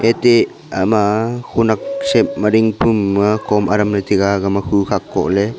ete aga ma honak shape ding pu am kom adam ley taiga aga ma khu khak koh ley.